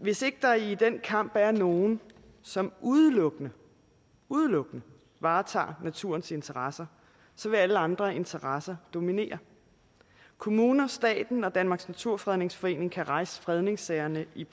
hvis ikke der i den kamp er nogen som udelukkende udelukkende varetager naturens interesser vil alle andre interesser dominere kommuner staten og danmarks naturfredningsforening kan rejse fredningssagerne i